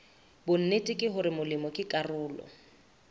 bonnete hore molemi ke karolo